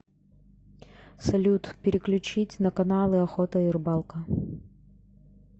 салют переключить на каналы охота и рыбалка